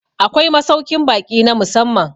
Akwai masaukin baki na musamman